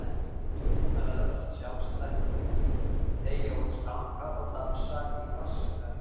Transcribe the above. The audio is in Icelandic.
Flíkurnar öðlast sjálfstætt líf, teygja út skanka og dansa í vatnselgnum.